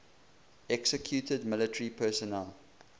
executed military personnel